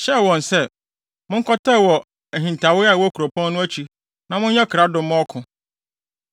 hyɛɛ wɔn se, “Monkɔtɛw wɔ ahintawee a ɛwɔ kuropɔn no akyi na monyɛ krado mma ɔko.